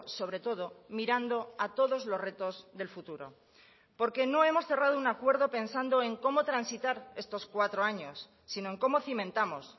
sobre todo mirando a todos los retos del futuro porque no hemos cerrado un acuerdo pensando en cómo transitar estos cuatro años sino en cómo cimentamos